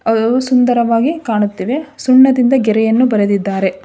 ಅವು ಸುಂದರವಾಗಿ ಕಾಣುತ್ತಿವೆ ಸುಣ್ಣದಿಂದ ಗೆರೆಯನ್ನು ಬರೆದಿದ್ದಾರೆ